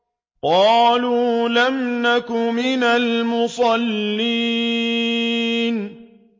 قَالُوا لَمْ نَكُ مِنَ الْمُصَلِّينَ